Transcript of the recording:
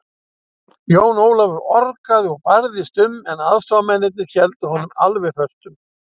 Jón Ólafur orgaði og barðist um, en aðstoðarmennirnir héldu honum alveg föstum.